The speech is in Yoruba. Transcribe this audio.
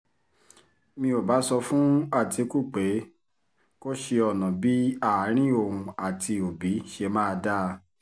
mi ò bá sọ fún àtìkù pé kó ṣe ọ̀nà bíi àárín òun àti òbí ṣe máa dáa